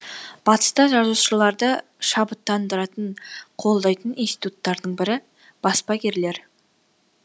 батыста жазушыларды шабыттандыратын қолдайтын институттардың бірі баспагерлер